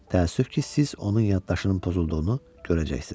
Təəssüf ki, siz onun yaddaşının pozulduğunu görəcəksiniz.